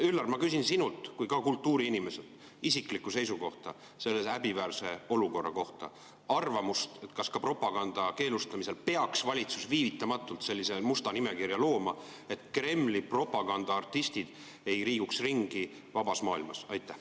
Üllar, ma küsin sinult kui ka kultuuriinimeselt isiklikku seisukohta, arvamust selle häbiväärse olukorra kohta: kas ka propaganda keelustamisel peaks valitsus viivitamatult sellise musta nimekirja looma, et Kremli propagandaartistid ei liiguks ringi vabas maailmas?